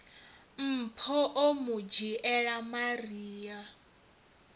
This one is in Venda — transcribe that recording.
mpho o mu dzhiela maria